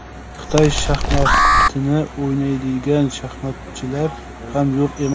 Xitoy shaxmatini o‘ynaydigan shaxmatchilar ham yo‘q emas.